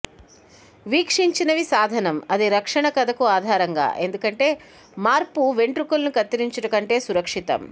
వీక్షించినవి సాధనం అది రక్షణ కథకు ఆధారంగా ఎందుకంటే మార్పు వెంట్రుకలు కత్తిరించుట కంటే సురక్షితం